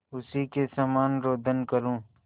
उसी के समान रोदन करूँ